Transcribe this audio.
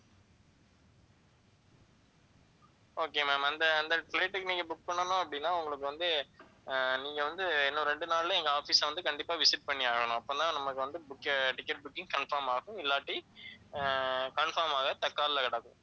okay ma'am அந்த அந்த flight க்கு நீங்க book பண்ணணும் அப்படின்னா உங்களுக்கு வந்து ஆஹ் நீங்க வந்து இன்னும் ரெண்டு நாள்ல எங்க office அ வந்து கண்டிப்பா visit பண்ணி ஆகணும். அப்பதான் நமக்கு வந்து book, ticket booking confirm ஆகும். இல்லாட்டி ஆஹ் confirm ஆக